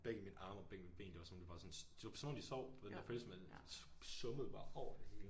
Begge mine arme og ben ben det var som om de bare sådan det var som om de sov du den følselse hvor man summede bare over det hele